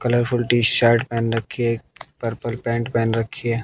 Colourful T shirt पहन रखी है। पर्पल पैंट पहन रखी है।